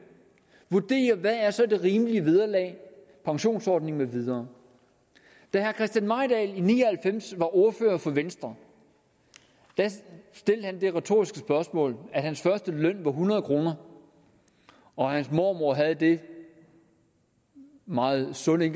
vurderer hvad der er rimelige vederlag pensionsordninger med videre da herre christian mejdahl i ni og halvfems var ordfører for venstre stillede han et retorisk spørgsmål hans første løn var hundrede kr og hans mormor havde den meget sunde